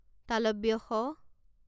শ